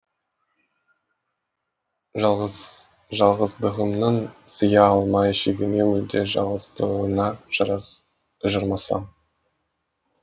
жалғыздығымның сыя алмай шегіне мүлде жалғыздығыңа жармасам